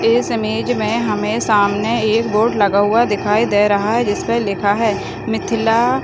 इस इमेज में हमें सामने एक बोर्ड लगा हुआ दिखाई दे रहा है जिसपे लिखा है मिथिला --